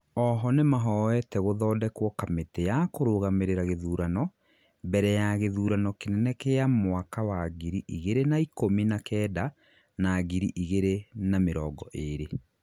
oho, nimahoete gũthondekwo kamĩti ya kũrũgamĩrira gĩthurano, mbere ya gĩthurano kĩnene gĩa mwaka wa ngiri igĩrĩ na ikũmi na Kenda na ngiri igĩrĩ na mĩrongo ĩrĩ